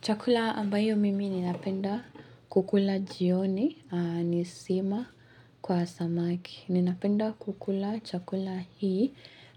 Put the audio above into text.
Chakula ambayo mimi ninapenda kukula jioni ni sima kwa samaki. Ninapenda kukula chakula hii